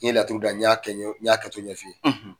N ye laturu da. N y'a kɛ n y'a kɛ cogo ɲɛf'i ye.